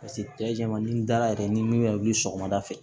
Paseke cɛ jaman ni dala yɛrɛ ni min bɛ wuli sɔgɔmada fɛ